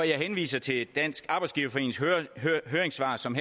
jeg henviser til dansk arbejdsgiverforenings høringssvar som